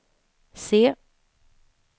C